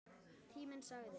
Tíminn sagði